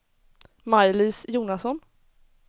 Maj-Lis Jonasson